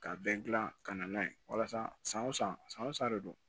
Ka bɛn gilan ka na n'a ye walasa san o san san o san de don